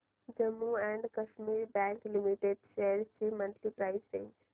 Jammu and Kashmir bank limited shares ची monthly price range